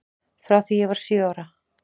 Frá því ég var sjö ára.